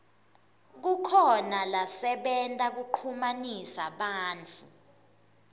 kukhona lasebenta kuchumanisa bantfu